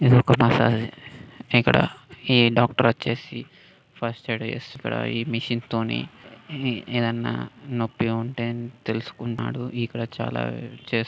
ఇది ఒక మసాజ్ ఇక్కడ ఈ డాక్టర్ వచ్చేసి ఫస్ట్ ఎయిడ్ ఈ మిషన్ తోని ఈ ఏదన్నా నొప్పి ఉంటె తెలుసుకుంటునాడు ఇక్కడ చాలా చేస్తున్నాడు